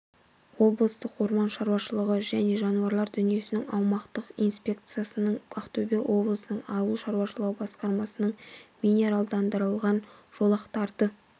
облыстық орман шаруашылығы және жануарлар дүниесінің аумақтық инспекциясының ақтөбе облысының ауыл шаруашылығы басқармасының минералдандырылған жолақтарды